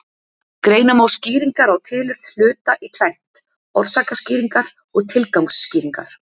Greina má skýringar á tilurð hluta í tvennt: orsakaskýringar og tilgangsskýringar.